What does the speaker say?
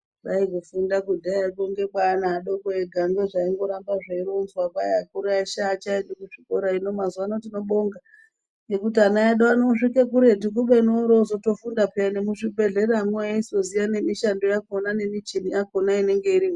Kwai kufunda kudhaya kwongekwaana adoko ega ngezvaingoramba zveironzwa kwai akuru eshe aachaendi kuchikora hino mazuwa ano tinobonga ngekuti ana edu osvike kuretu kubeni orozotofunda payani nemuzvibhedhlera mwo eizoziya nemishando yakhona nemichini yakhona inenge irimwo.